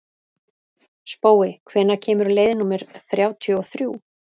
Spói, hvenær kemur leið númer þrjátíu og þrjú?